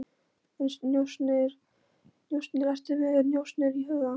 En njósnir, ertu með njósnir í huga?